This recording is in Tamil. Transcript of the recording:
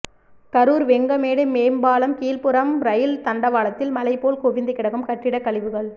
கரூர் வெங்கமேடு மேம்பாலம் கீழ்புறம் ரயில் தண்டவாளத்தில் மலை போல் குவிந்து கிடக்கும் கட்டிட கழிவுகள்